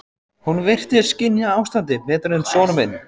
Hún virtist skynja ástandið betur en sonur minn.